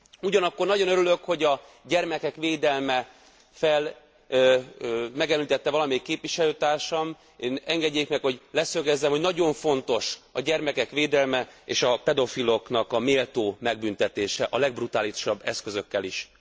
Ugyanakkor nagyon örülök, hogy a gyermekek védelmét megemlítette valamelyik képviselőtársam Engedjék meg, hogy leszögezzem, hogy nagyon fontos a gyermekek védelme és a pedofilok méltó megbüntetése, a legbrutálisabb eszközökkel is!